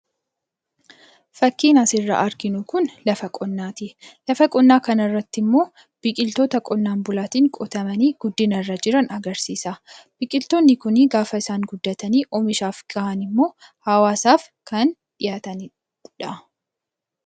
Fakkiin asirraa arginu Kun, lafa qonnaati. Lafa qonnaa kana irratti immoo biqiltoota lafa qonnaatiin qotamanii agarsiisa. Biqiltoonni Kun gaafa isaan guddatanii oomishaaf gahan immoo hawaasaaf kan dhihaatanidha.